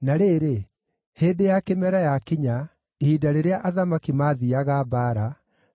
Na rĩrĩ, hĩndĩ ya kĩmera yakinya, ihinda rĩrĩa athamaki maathiiaga mbaara,